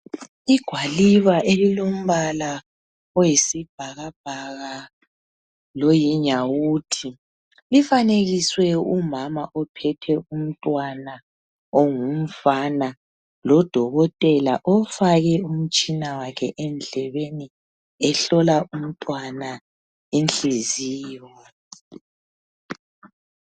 Igwaliba elilombala oyisibhakabhaka loyinyawuthi. Lifanekiswe umama ophethe umntwana ongumfana lodokotela ofake umtshina wakhe endlebeni, ehlola umntwana inhliziyo.